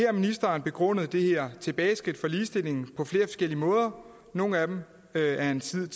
har ministeren begrundet det her tilbageskridt for ligestillingen på flere forskellige måder nogle af dem har han siden